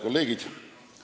Head kolleegid!